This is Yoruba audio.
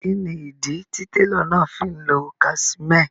Kíni ídí tí tẹ̀ló náà fí n lọ́ casimẹ́è?